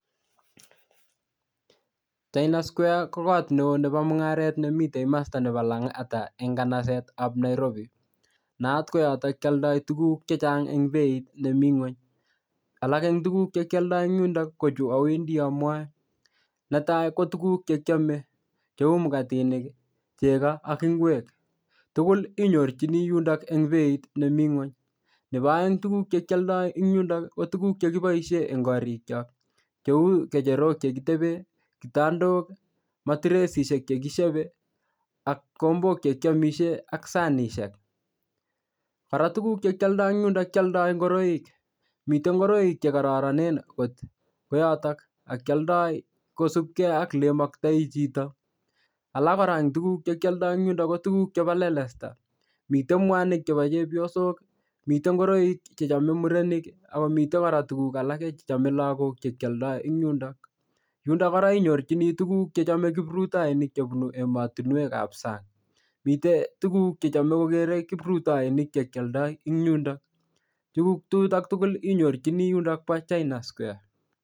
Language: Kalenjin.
China square ko kot neo nebo mung'aret nemitei komosta nebo Lang'ata eng' kanasetab Nairobi nayat koyoto kooldoi tukuk chechang' eng' beit nemi ng'ony alak eng' tukuk chekioldoi eng' yundo ko chu awendi amwoe netai ko tukuk chekiomei cheu makatinik chego ak ingwek tugul inyorchini yundok eng' beit nemi ng'ony nebo oeng' tukuk chekioldoi eng' yundo ko tukuk chekiboishe eng' korikchok cheu kecherok chekitebe kitandok matiresishek chekishebei ak kikombok chekiomishe ak sanishek kora tukuk chekioldoi eng' yundo kioldoi ngoroik mitei ngoroik chekororonen kot koyoto ak kioldoi kosubgei ak le imaktoi chito alak kora eng' tukuk chekioldoi eng' yundo ko tukuk chebo lelesta mitei mwanik chebo chepyosok mitei ngoroik chechomei murenik ako mitei kora tukuk alake chechomei lakok chekioldoi eng' yundo, yundo kora inyorchini tukuk chechomei kiprutoinik chebunu emotinwekab sang' mitei tukuk chechomei kokerei kiprutoinik chekioldoi eng' yundo tukuk chuto tugul inyorchini yundok bo china square